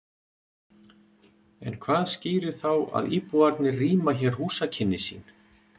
En hvað skýrir þá að íbúarnir rýma hér húsakynni sín?